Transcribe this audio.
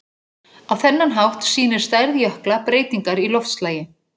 Á þennan hátt sýnir stærð jökla breytingar í loftslagi.